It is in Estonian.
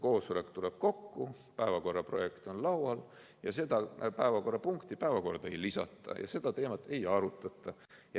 Koosolek tuleb kokku, päevakorraprojekt on laual, aga seda päevakorrapunkti päevakorda ei lisata ja seda teemat ei arutata.